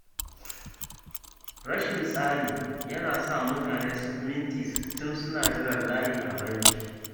Rashin tsari yana sa mutane su fi minti sittin suna jiran layi a banki